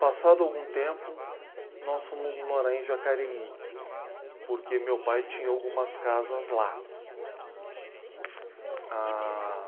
Passado algum tempo, nós fomos morar em Jacareí, porque meu pai tinha algumas casas lá. Ãh...